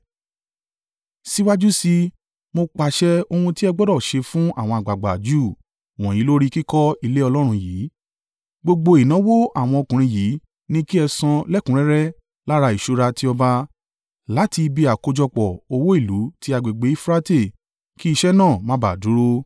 Síwájú sí i, mo pàṣẹ ohun tí ẹ gbọdọ̀ ṣe fún àwọn àgbàgbà Júù wọ̀nyí lórí kíkọ́ ilé Ọlọ́run yìí. Gbogbo ìnáwó àwọn ọkùnrin yìí ni kí ẹ san lẹ́kùnrẹ́rẹ́ lára ìṣúra ti ọba, láti ibi àkójọpọ̀ owó ìlú ti agbègbè Eufurate kí iṣẹ́ náà má bà dúró.